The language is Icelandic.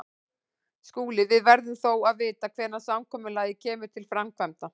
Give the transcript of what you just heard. SKÚLI: Við verðum þó að vita hvenær samkomulagið kemur til framkvæmda.